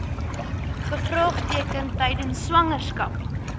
gevaartekens tydens swangerskap